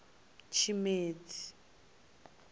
tshimedzi